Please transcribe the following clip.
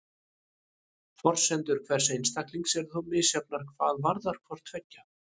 Forsendur hvers einstaklings eru þó misjafnar hvað varðar hvort tveggja.